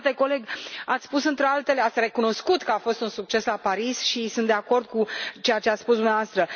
Stimate coleg, ați spus, între altele, ați recunoscut că a fost un succes la Paris și sunt de acord cu ceea ce ați spus dumneavoastră.